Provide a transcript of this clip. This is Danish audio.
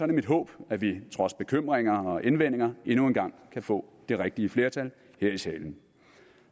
det mit håb at vi trods bekymringer og indvendinger endnu en gang kan få det rigtige flertal her i salen